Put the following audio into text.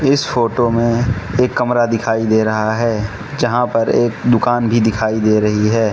इस फोटो में एक कमरा दिखाई दे रहा है जहां पर एक दुकान भी दिखाई दे रही है।